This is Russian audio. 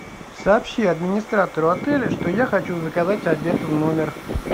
сообщи администратору отеля что я хочу заказать обед в номер